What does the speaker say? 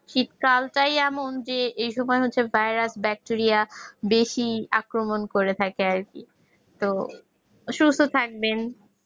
শীতকালটাই আমার চেয়ে ওই সময় ভাইরাস ব্যাকটেরিয়া বেশি আক্রমণ করে থাকে আরকি ওই সমস্ত থাকবে